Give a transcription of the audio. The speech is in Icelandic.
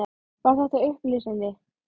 Var þetta upplýsandi?